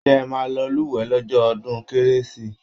ṣé ẹ máa lọ lúwẹ̀ẹ́ lọ́jọ́ ọdún kérésì?